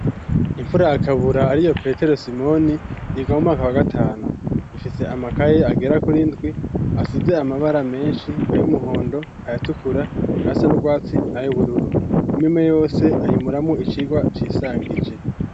Imfura yakabura ariyo petero simoni yiga mumwaka wa gatanu ifise amakaye agera kuri ndwi asize amabara menshi ayumuhondo ayatukura yasanubwatsi nay'ubururu imwimwe yose ayimuramo icirwa cisangije.